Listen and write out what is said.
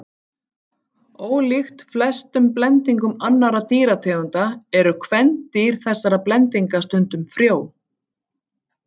Ólíkt flestum blendingum annarra dýrategunda eru kvendýr þessara blendinga stundum frjó.